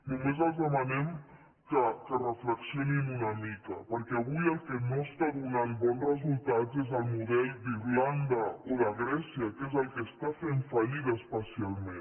només els demanem que reflexionin una mica perquè avui el que no està donant bons resultats és el model d’irlanda o de grècia que és el que està fent fallida especialment